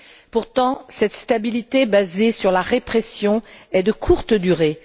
Pourtant, cette stabilité basée sur la répression est de courte durée